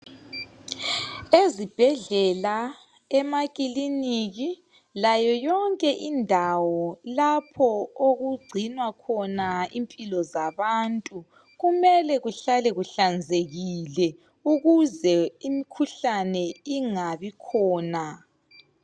Ezibhedlela, emakhiliniki, layo yonke indawo lapho okugcinwa khona impilo zabantu .Kumele kuhlale kuhlanzekile ukuze imikhuhlane ingabikhona.